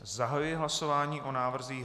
Zahajuji hlasování o návrzích